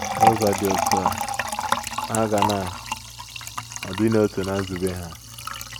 N’ụzọ dị otú a, ha ga na - adị n’otu ná nzube ha.